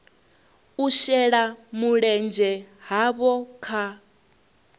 u shela mulenzhe havho kha